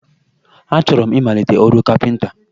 Achọrọ m ịmalite ọrụ kapịnta